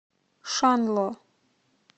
шанло